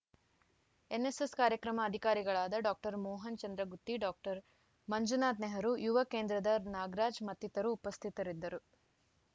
NSS ಕಾರ್ಯಕ್ರಮ ಅಧಿಕಾರಿಗಳಾದ doctor Mohan Chandragutti doctor Manjunath Nehru ಯುವ ಕೇಂದ್ರದ ನಾಗರಾಜ್‌ ಮತ್ತಿತರು ಉಪಸ್ಥಿತರಿದ್ದರು